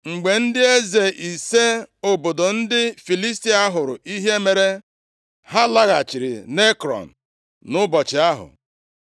Mgbe ndị eze ise obodo ndị Filistia hụrụ ihe mere, ha laghachiri nʼEkrọn nʼụbọchị ahụ.